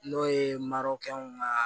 N'o ye marokɛw ka